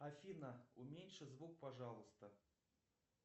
афина уменьши звук пожалуйста